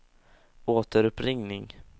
återuppringning